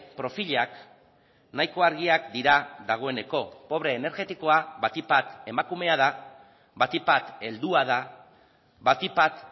profilak nahiko argiak dira dagoeneko pobre energetikoa batik bat emakumea da batik bat heldua da batik bat